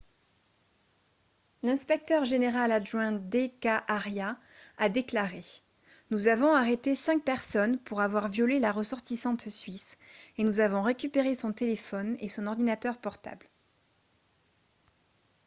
l'inspecteur général adjoint d.k. arya a déclaré :« nous avons arrêté cinq personnes pour avoir violé la ressortissante suisse et nous avons récupéré son téléphone et son ordinateur portables. »